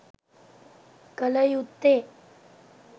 කළ යුත්තේ